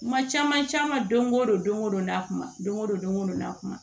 Kuma caman caman don o don don o don n'a kuma don o don don ko don n'a kuma